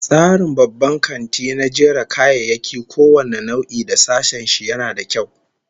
Tsarin babban kanti na jera kayayyaki kowane nau'i da sashen shi, yana da kyau